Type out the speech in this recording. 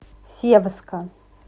севска